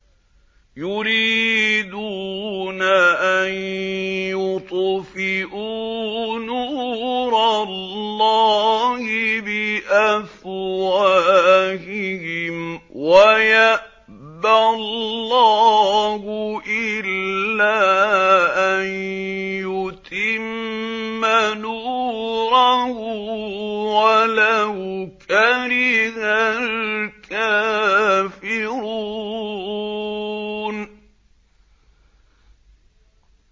يُرِيدُونَ أَن يُطْفِئُوا نُورَ اللَّهِ بِأَفْوَاهِهِمْ وَيَأْبَى اللَّهُ إِلَّا أَن يُتِمَّ نُورَهُ وَلَوْ كَرِهَ الْكَافِرُونَ